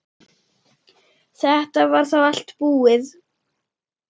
Þetta var þá allt búið.